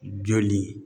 Joli